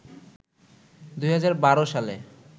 ২০১২ সালে